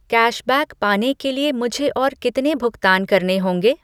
cashback पाने के लिए मुझे और कितने भुगतान करने होंगे